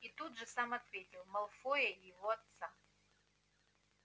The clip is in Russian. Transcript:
и тут же сам ответил малфоя и его отца